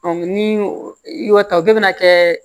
ni i y'o ta o bɛɛ bɛna kɛ